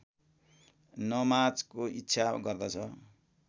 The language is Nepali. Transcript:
नमाजको इच्छा गर्दछ